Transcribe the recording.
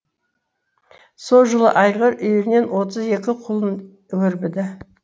со жылы айғыр үйірінен отыз екі құлын өрбіді